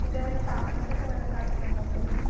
പിന്നേ മറ്റേ തവളെൻറെ ഒക്കേ വെള്ള ചാട്ടം ഒക്കേ ഉണ്ടോ ഇപ്പളും?